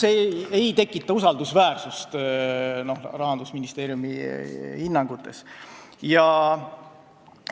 See ei tekita usaldust Rahandusministeeriumi hinnangute vastu.